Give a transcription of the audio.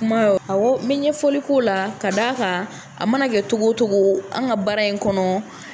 Kuma awɔ, n be ɲɛfɔli k'o la ka da kan a mana kɛ cogo cogo an ka baara in kɔnɔ